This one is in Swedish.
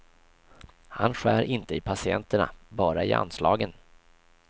Han skär inte i patienterna, bara i anslagen.